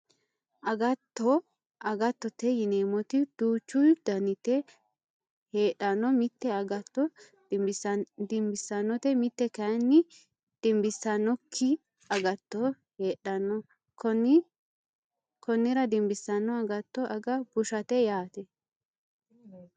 Agatto agattote yineemmoti duuchu daniti heedhanno mite agatto dimbissannote mite kayinni dimbissannokki agatto heedhanno konnira dimbissanno agtto aga bushate yaate